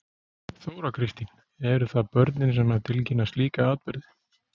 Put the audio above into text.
Þóra Kristín: Eru það börnin sem að tilkynna slíka atburði?